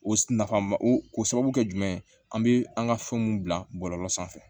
O nafa ma o sababu kɛ jumɛn ye an bɛ an ka fɛn mun bila bɔlɔlɔ sanfɛ